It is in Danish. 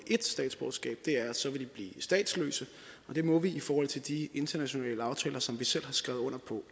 ét statsborgerskab er at så ville de blive statsløse og det må vi ikke i forhold til de internationale aftaler som vi selv har skrevet under